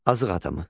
Azıq adamı.